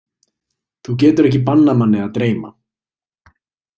Þú getur ekki bannað manni að dreyma.